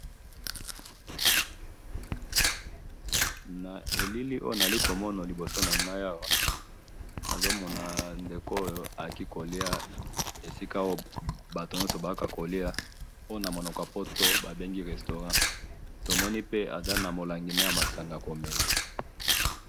Na elili oyo nazali komona liboso nangayi awa, nazo mona ndeko ekee koliya esika oyo batu nyoso bayaka ko liya, oyo namunoko yapoto babengi restaurant, tomoni pe aza namolangi ne ya masanga yakomela.